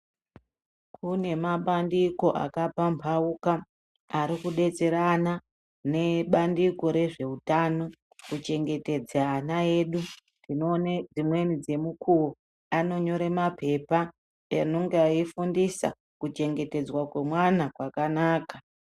Kune mabandiko akapambauka ari kubetserana nebandiko rezveutano kuchengetedza ana edu. Tinoone dzimweni dzemukuvo anonyore mapepa anenga eifundisa kuchengetedzwa kwemwana kwakanaka.